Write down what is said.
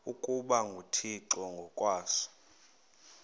ukuba nguthixo ngokwaso